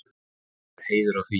Okkur er heiður af því.